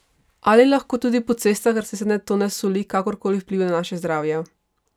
Ali lahko tudi po cestah raztresene tone soli kakorkoli vplivajo na naše zdravje?